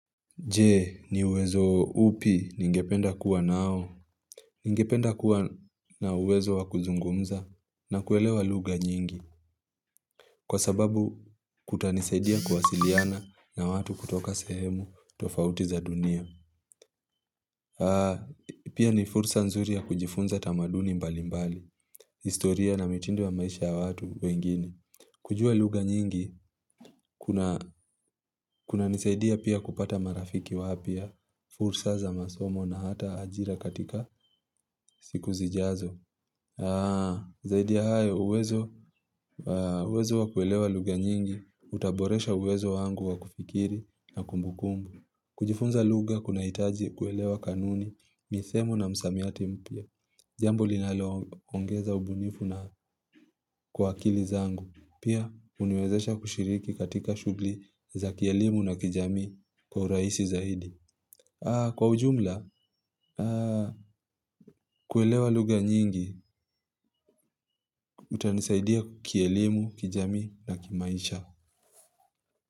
Je, ni uwezo upi ningependa kuwa nao. Ningependa kuwa na uwezo wakuzungumza na kuelewa lugha nyingi. Kwa sababu kutanisaidia kuwasiliana na watu kutoka sehemu tofauti za dunia. Pia ni fursa nzuri ya kujifunza tamaduni mbali mbali. Historia na mitindo wa maisha ya watu wengine. Kujua lugha nyingi, kunanisaidia pia kupata marafiki wapya. Fursa za masomo na hata ajira katika siku zijazo. Zaidi ya hayo, uwezo wa kuelewa lugha nyingi utaboresha uwezo wangu wa kufikiri na kumbukumbu kujifunza lugha kunahitaji kuelewa kanuni, misemo na msamiati mpya jambo linalo ongeza ubunifu na kwa akili zangu pia uniwezesha kushiriki katika shughli za kielimu na kijamii kwa urahisi zaidi kwa ujumla, kuelewa lugha nyingi utanisaidia kielimu, kijami na kimaisha.